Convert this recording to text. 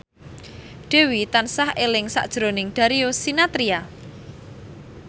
Dewi tansah eling sakjroning Darius Sinathrya